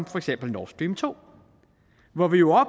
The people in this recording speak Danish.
for eksempel nord stream to hvor vi jo